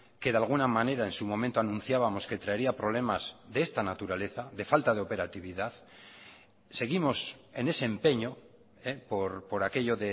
que de alguna manera en su momento anunciábamos que traería problemas de esta naturaleza de falta de operatividad seguimos en ese empeño por aquello